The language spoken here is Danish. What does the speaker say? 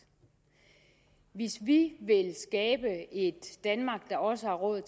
hvis vi vil skabe et danmark der også har råd